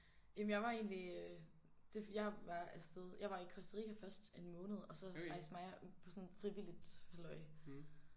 Jamen jeg var egentlig øh det jeg var afsted jeg var i Costa Rica først en måned og så faktisk mig og på sådan frivilligt halløj